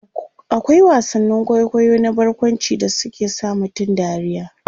akwai wasannin kwaikwayo na barkwanci da suke sa mutum dariya